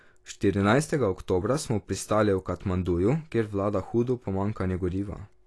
Štirinajstega oktobra smo pristali v Katmanduju, kjer vlada hudo pomanjkanje goriva.